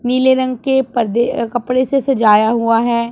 नीले रंग के पर्दे कपड़े से सजाया हुआ है।